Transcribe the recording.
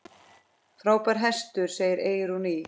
Frábær hestur, segir Eyrún Ýr.